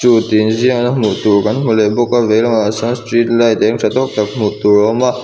two tih inziak kan hmu leh bawk a lehlamah sawn street light êng tha tâwk tak hmuh tur a awm a.